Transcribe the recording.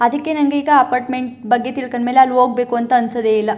ಅದಕ್ಕೆ ನಂಗೆ ಅಪಾರ್ಟ್ಮೆಂಟ್ ಬಗ್ಗೆ ತಿಳ್ಲ್ಕಂಡ ಮೇಲೆ ಅಲ್ಲಿ ಹೋಗ್ಬೇಕು ಅಂತ ಅನ್ಸದ್ದೆ ಇಲ್ಲ.